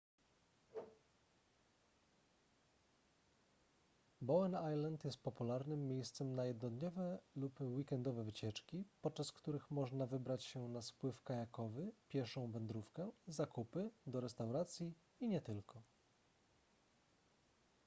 bowen island jest popularnym miejscem na jednodniowe lub weekendowe wycieczki podczas których można wybrać się na spływ kajakowy pieszą wędrówkę zakupy do restauracji i nie tylko